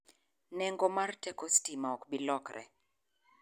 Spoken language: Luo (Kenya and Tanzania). Neng'o mar teko sitima ok biro lokre.